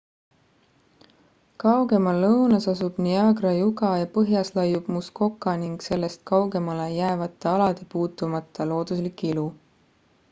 kaugemal lõunas asub niagara juga ja põhjas laiub muskoka ning sellest kaugemale jäävate alade puutumata looduslik ilu